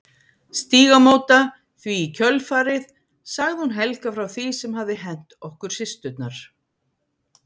Stígamóta því í kjölfarið sagði hún Helga frá því sem hafði hent okkur systurnar.